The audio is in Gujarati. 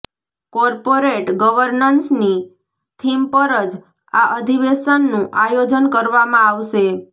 કોર્પોરેટ ગવર્નન્સની થીમ પર જ આ અધિવેશનનું આયોજન કરવામાં આવશે